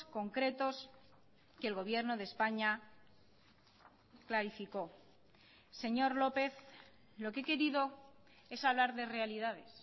concretos que el gobierno de españa clarificó señor lópez lo que he querido es hablar de realidades